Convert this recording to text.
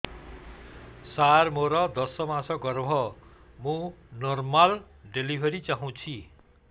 ସାର ମୋର ଦଶ ମାସ ଗର୍ଭ ମୁ ନର୍ମାଲ ଡେଲିଭରୀ ଚାହୁଁଛି